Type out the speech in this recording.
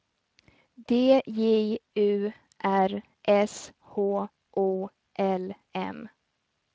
D J U R S H O L M